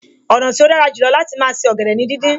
Ọ̀nà tí ó dára jù lọ láti máa se ọ̀gẹ̀dẹ̀ ni díndín